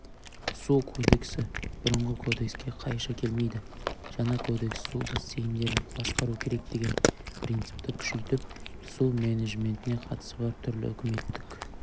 су кодексі бұрынғы кодекске қайшы келмейді жаңа кодекс су бассейндерін басқару керек деген принципті күшейтіп су менеджментіне қатысы бар түрлі үкіметтік